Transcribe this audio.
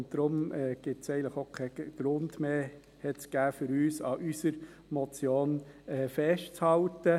Deshalb gab es eigentlich für uns auch keinen Grund mehr, an unserer Motion festzuhalten.